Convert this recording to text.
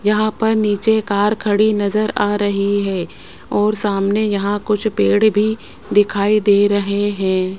यहां पर नीचे कार खड़ी नजर आ रही है और सामने यहां कुछ पेड़ भी दिखाई दे रहे हैं।